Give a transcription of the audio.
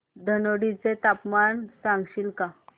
धनोडी चे तापमान सांगशील का